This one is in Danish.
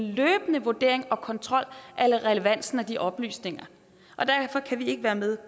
løbende vurdering og kontrol af relevansen af de oplysninger derfor kan vi ikke være med